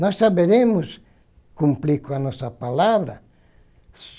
Nós saberemos cumprir com a nossa palavra.